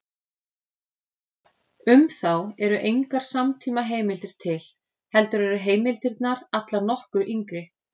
Um þá eru engar samtímaheimildir til, heldur eru heimildirnar allar nokkru yngri.